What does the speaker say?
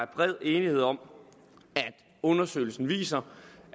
bred enighed om at undersøgelsen viser